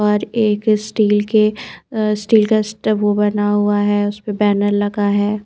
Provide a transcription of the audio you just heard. पर एक स्टील के स्टील का स्टॉप बना हुआ है उस पर बैनर लगा हुआ हैं ।